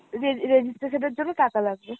re~ registration এর জন্য টাকা লাগবে।